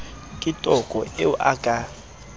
ke toko eo a ka